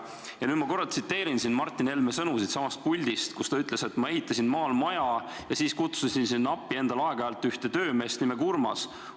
Ja nüüd ma korra tsiteerin Martin Helme sõnu siitsamast puldist, kus ta ütles: "Ma ehitasin maal maja ja kutsusin sinna endale aeg-ajalt appi ühe töömehe nimega Urmas.